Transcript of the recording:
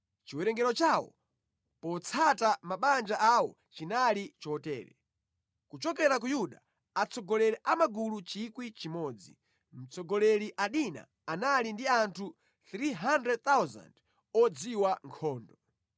Chiwerengero chawo potsata mabanja awo chinali chotere: kuchokera ku Yuda, atsogoleri a magulu 1,000; mtsogoleri Adina, anali ndi anthu 300,000 odziwa nkhondo;